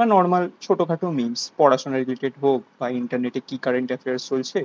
বা normal ছোট খাটো memes পড়াশোনা related হোক বা internet এ কি current affair চলছে